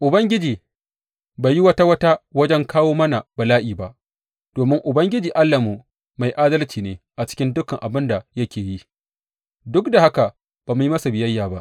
Ubangiji bai yi wata wata wajen kawo mana bala’i ba, domin Ubangiji Allahnmu mai adalci ne a cikin dukan abin da yake yi; duk da haka ba mu yi masa biyayya ba.